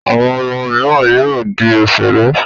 Àwọn ọmọ mìíràn yóò di òṣèré.